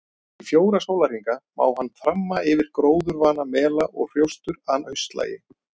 Í fjóra sólarhringa má hann þramma yfir gróðurvana mela og hrjóstur að haustlagi.